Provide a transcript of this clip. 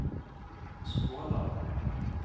Skåla